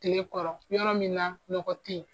Tilekɔrɔ yɔrɔ min na nɔgɔ tɛ yen.